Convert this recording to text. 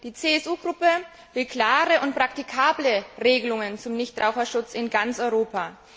Die CSU Gruppe will klare und praktikable Regelungen zum Nichtraucherschutz in ganz Europa.